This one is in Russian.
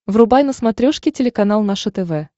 врубай на смотрешке телеканал наше тв